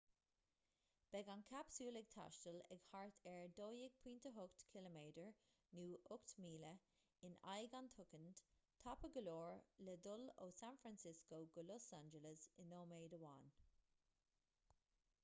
beidh an capsule ag taisteal ag thart ar 12.8 km nó 8 míle in aghaidh an tsoicind tapa go leor le dul ó san francisco go los angeles i nóiméad amháin